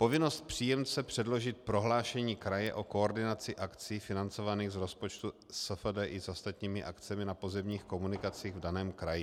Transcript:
povinnosti příjemce předložit prohlášení kraje o koordinaci akcí financovaných z rozpočtu SFDI s ostatními akcemi na pozemních komunikacích v daném kraji.